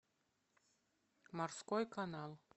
морской канал